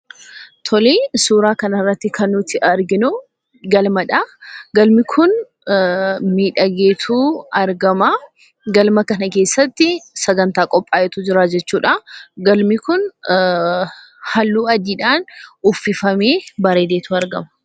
Tole ,suuraa kana irratti kan nuti arginu galmadha. Galmi kun miidhagee tu argama. Galma kana keessatti sagantaa qophaa'etu jira jechuudha. Galmi kun halluu adiidhaan uffifamee bareedeetu argama.